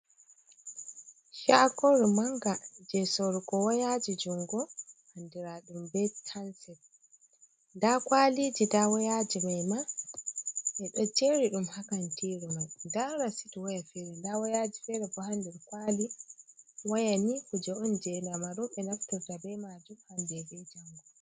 Shaagooru mannga, jey soorugo wayaaji junngo, anndiraaɗum bee hanset, nda kwaliiji nda wayaaji mai ma ɓe ɗo jeeri ɗum haa kantiiji mai, nda rasit waya feere nda wayaaji feere bo haa nder kwaali, waya ni kuuje on jey jamanu ɓe naftira bee maajum hannde bee janngo.